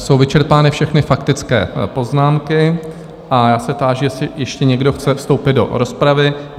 Jsou vyčerpány všechny faktické poznámky a já se táži, jestli ještě někdo chce vstoupit do rozpravy?